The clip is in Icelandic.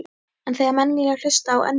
En þegar menn vilja hlusta á önnur lið?